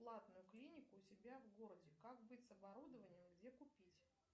платную клинику у себя в городе как быть с оборудованием где купить